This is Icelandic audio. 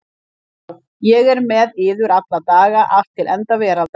Sjá ég er með yður alla daga allt til enda veraldar.